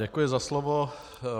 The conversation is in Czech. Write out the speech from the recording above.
Děkuji za slovo.